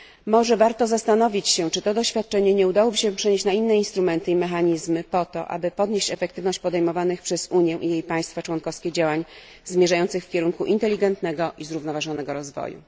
Może warto zastanowić się, czy tego doświadczenia nie udałoby się przenieść na inne instrumenty i mechanizmy po to, aby podnieść efektywność podejmowanych przez Unię i jej państwa członkowskie działań zmierzających w kierunku inteligentnego i zrównoważonego rozwoju.